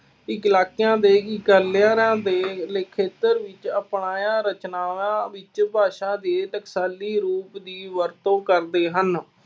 ਇੱਕਲਾਕਿਆਂ ਦੇ ਇਕੱਲਿਆਂ ਦੇ ਖੇਤਰ ਵਿੱਚ ਅਪਾਇਆਂ ਰਚਨਾਵਾਂ ਵਿਚ ਭਾਸ਼ਾ ਦੇ ਟਕਸਾਲੀ ਰੂਪ ਦੀ ਵਰਤੋਂ ਕਰਦੇ ਹਨ।